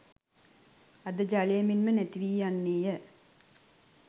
අර ජලය මෙන්ම නැතිවී යන්නේය.